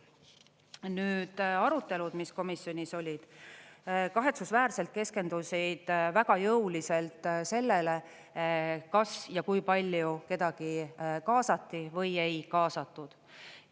Nüüd arutelud, mis komisjonis olid, kahetsusväärselt keskendusid väga jõuliselt sellele, kas ja kui palju kedagi kaasati või ei kaasatud.